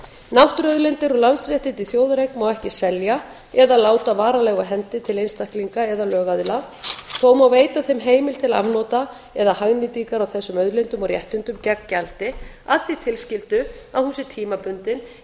náttúruauðlindir og landsréttindi í þjóðareign má ekki selja eða láta varanlega af hendi til einstaklinga eða lögaðila þó má veita þeim heimild til afnota eða hagnýtingar á þessum auðlindum og réttindum gegn gjaldi að því tilskildu að hún sé tímabundin